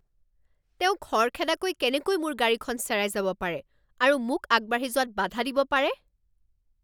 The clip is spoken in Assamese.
তেওঁ খৰখেদাকৈ কেনেকৈ মোৰ গাড়ীখন চেৰাই যাব পাৰে আৰু মোক আগবাঢ়ি যোৱাত বাধা দিব পাৰে?